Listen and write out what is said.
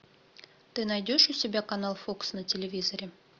ты найдешь у себя канал фокс на телевизоре